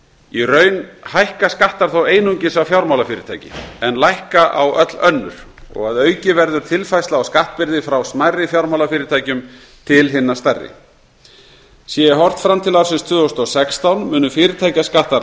í raun hækka skattar þó einungis á fjármálafyrirtæki en lækka á öll önnur að auki verður tilfærsla á skattbyrði frá smærri fjármálafyrirtækjum til hinna stærri sé horft fram til ársins tvö þúsund og sextán munu fyrirtækjaskattar